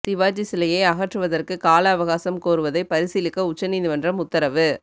சிவாஜி சிலையை அகற்றுவதற்கு காலஅவகாசம் கோருவதை பரிசீலிக்க உச்ச நீதிமன்றம் உத்தரவு